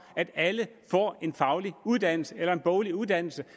at alle får en faglig uddannelse eller en boglig uddannelse